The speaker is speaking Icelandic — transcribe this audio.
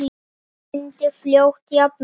Mamma myndi fljótt jafna sig.